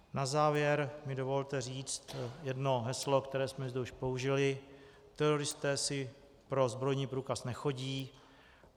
Na závěr mi dovolte říci jedno heslo, které jsme zde již použili: teroristé si pro zbrojní průkaz nechodí.